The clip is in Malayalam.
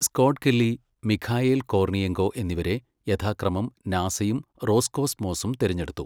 സ്കോട്ട് കെല്ലി, മിഖായേൽ കോർണിയെങ്കോ എന്നിവരെ യഥാക്രമം നാസയും റോസ്കോസ്മോസും തിരഞ്ഞെടുത്തു.